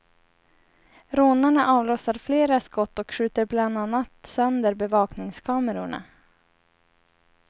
Rånarna avlossar flera skott och skjuter bland annat sönder bevakningskamerorna.